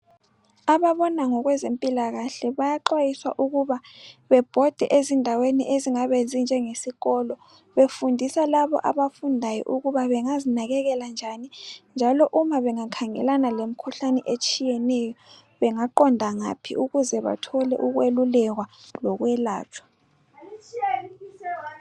Ababona ngokwezempilakahle bayaxwayiswa ukuba bebhode ezindaweni ezingabe zinjenge sikolo befundisa labo abafundayo ukuba bengazinakekela njani njalo uma bengakhangelana lemikhuhlane etshiyeneyo bengaqonda ngaphi ukuze bathole ukwelulekwa lokwelatshwa.